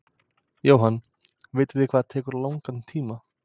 Jóhann: Vitið þið hvað það tekur langan tíma?